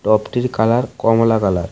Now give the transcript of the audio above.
টপটির colour কমলা colour .